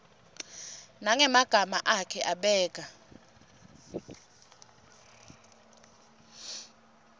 nangemagama akhe abeka